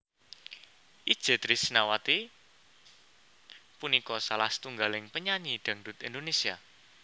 Itje Trisnawati punika salah setunggaling penyanyi dhangdhut Indonésia